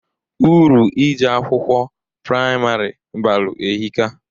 Uru ije akwụkwọ praimarị balụ ehika.